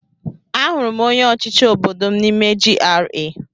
Ahụrụ m onye ọchịchị obodo m n'ime GRA.